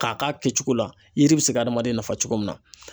K'a k'a kɛcogo la, yiri bɛ se ka adamaden nafa cogo min na .